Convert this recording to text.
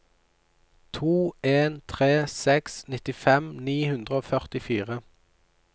to en tre seks nittifem ni hundre og førtifire